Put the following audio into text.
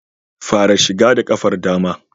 Fara shiga da ƙafar dama